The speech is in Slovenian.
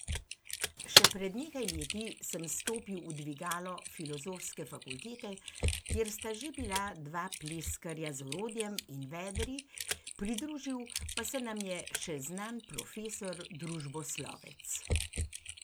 Še pred nekaj leti sem stopil v dvigalo Filozofske fakultete, kjer sta že bila dva pleskarja z orodjem in vedri, pridružil pa se nam je še znan profesor družboslovec.